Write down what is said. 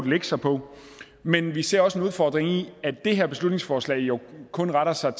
lægge sig på men vi ser også en udfordring i at det her beslutningsforslag jo kun retter sig